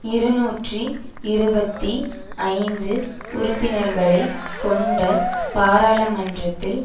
இருநூற்றி இருபத்தி ஐந்து உறுப்பினர்களை கொண்ட பாராளுமன்றத்தில்